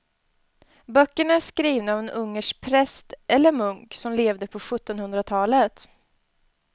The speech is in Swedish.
Böckerna är skrivna av en ungersk präst eller munk som levde på sjuttonhundratalet.